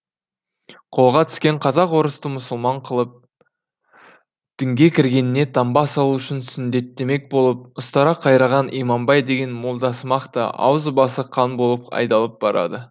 қолға түскен қазақ орысты мұсылман қылып дінге кіргеніне таңба салу үшін сүндеттемек болып ұстара қайраған иманбай деген молдасымақ та аузы басы қан болып айдалып барады